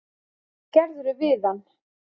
Hvað gerðirðu við hann!